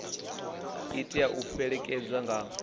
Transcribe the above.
i tea u fhelekedzwa nga